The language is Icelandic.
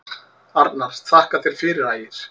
Arnar: Þakka þér fyrir Ægir.